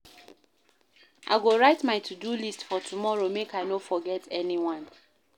I go write my to-do list for tomorrow make I no forget anyone.